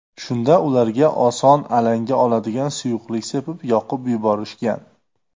Shunda ularga oson alanga oladigan suyuqlik sepib, yoqib yuborishgan.